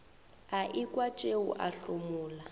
a ekwa tšeo a homola